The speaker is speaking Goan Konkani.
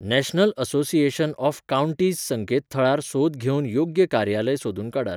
नॅशनल असोसिएशन ऑफ काउंटीज संकेतथळार सोद घेवन योग्य कार्यालय सोदून काडात.